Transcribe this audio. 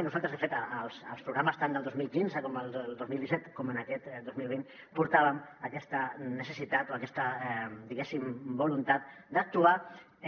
i nosaltres de fet als programes tant del dos mil quinze i del dos mil disset com d’aquest dos mil vint portàvem aquesta necessitat o aquesta diguéssim voluntat d’actuar